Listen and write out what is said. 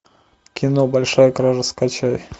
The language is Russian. кино большая кража скачай